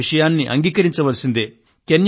ఈ విషయాన్ని అంగీకరించవలసిందే